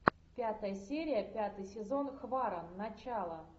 пятая серия пятый сезон хваран начало